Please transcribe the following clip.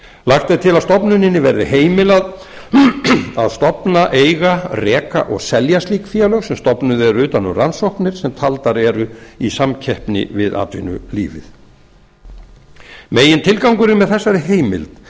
lagt er til að stofnuninni verði heimilað að stofna eiga reka og selja slík félög sem stofnuð eru utan um rannsóknir sem taldar eru í samkeppni við atvinnulífið megintilgangurinn með þessari heimild er